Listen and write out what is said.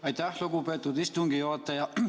Aitäh, lugupeetud istungi juhataja!